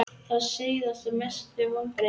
Sá síðasti Mestu vonbrigði?